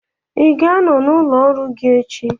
Ị ga-anọ n'ụlọ ọrụ gị echi?